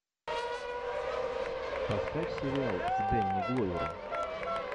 поставь сериал с дэнни гловером